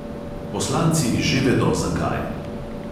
Poslanci že vedo, zakaj.